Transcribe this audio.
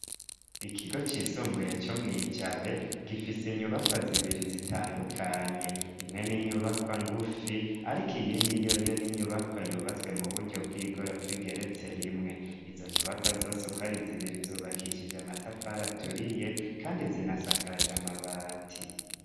Ikigo cisumbuye co mwijabe gifise inyubakwa zibiri zitandukanye imwe n'inyubakwa ngufi, ariko iyindi yoyo n'inyubakwa yubatswe mu buryo bw'igorofa igeretse rimwe izo nyubakwa zosukwari zibiri zubakishije amatafara aturiye, kandi zinasakaje amabati.